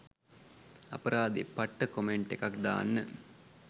අපරාදේ පට්ට කොමෙන්ට් එකක් දාන්න